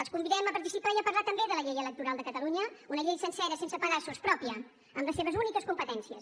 els convidem a participar i a parlar també de la llei electoral de catalunya una llei sencera sense pedaços pròpia amb les seves úniques competències